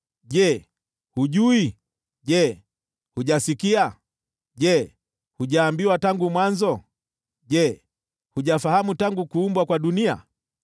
Je, hujui? Je, hujasikia? Je, hujaambiwa tangu mwanzo? Je, hujafahamu tangu kuumbwa kwa dunia?